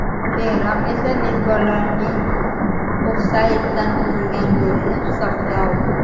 Keyinroq esa mezbonlarning ofsayddan urilgan golini hisobga oldi.